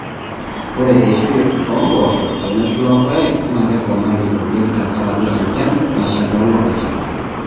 Ore eishoi enapooshoi teneshula irpaek naa keponari oleng tenkaraki enchan nasha too lapaitin.